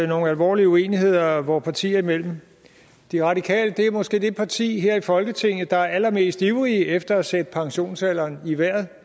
nogle alvorlige uenigheder vore partier imellem de radikale er måske det parti her i folketinget er allermest ivrig efter at sætte pensionsalderen i vejret